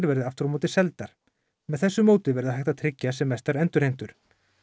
verði aftur á móti seldar með þessu móti verði hægt að tryggja sem mestar endurheimtur